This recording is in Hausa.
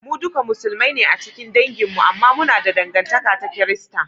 Mu duka Musulmai ne a cikin dangin mi, amma muna da dangantaka ta Kirista